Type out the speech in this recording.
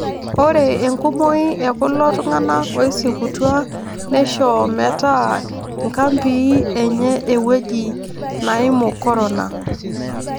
Ore enkumoi ekulo tung'anak oisikutua neisho metaa inkampii enye ewueji naimu Corona